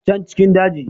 can cikin daji